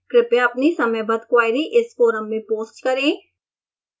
कृपया अपनी समयबद्ध queries इस forum में post करें